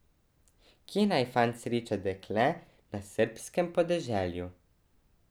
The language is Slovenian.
Kje naj fant sreča dekle na srbskem podeželju?